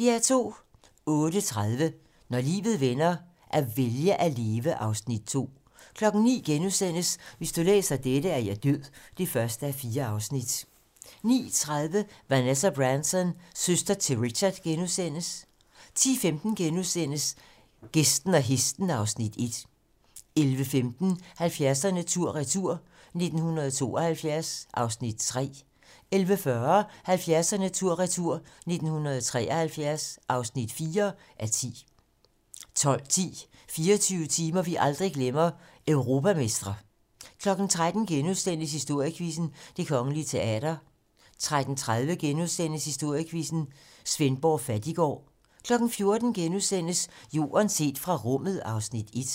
08:30: Når livet vender - at vælge at leve (Afs. 2) 09:00: Hvis du læser dette, er jeg død (1:4)* 09:30: Vanessa Branson - søster til Richard * 10:15: Gæsten og hesten (Afs. 1)* 11:15: 70'erne tur/retur: 1972 (3:10) 11:40: 70'erne tur/retur: 1973 (4:10) 12:10: 24 timer, vi aldrig glemmer - Europamestre 13:00: Historiequizzen: Det Kongelige Teater * 13:30: Historiequizzen: Svendborg Fattiggård * 14:00: Jorden set fra rummet (Afs. 1)*